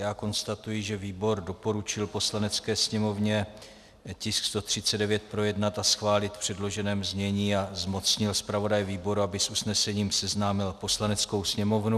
Já konstatuji, že výbor doporučil Poslanecké sněmovně tisk 139 projednat a schválit v předloženém znění a zmocnil zpravodaje výboru, aby s usnesením seznámil Poslaneckou sněmovnu.